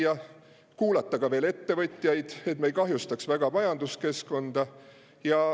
Ja kuulata ka ettevõtjaid, et me ei kahjustaks väga majanduskeskkonda.